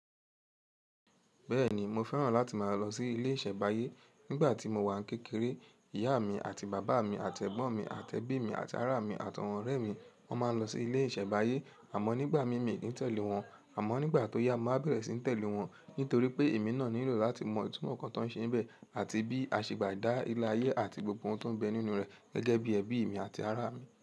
Bẹ́ẹ̀ni mo fẹ́ràn láti máa lọ sí ilé ìṣẹ̀báyé. Nígbà tí mo wà kékeré, ìyá mi àti bàbá mi àti ẹ̀gbọ́n mi àti ẹbí mi àti ará mi àti àwọn ọ̀rẹ́ mi wọ́n máa ń lọ sí ilé ìṣẹ̀báyé àmọ́ nígbà míì mi kì í tẹ̀lé wọn. Àmọ́ nígbà tó yá mo wa bẹ̀rẹ̀ sí ní tẹ̀lé wọn nítorí pé èmi náà nílò láti mọ ìtumọ̀ nǹkan tó ń ṣe níbẹ̀ àti bí a ṣe bá dá ilá ayé àti gbogbo ohun tó ń bẹ nínú rẹ̀ gẹ́gẹ́ bí ẹbí mi àti ará mi.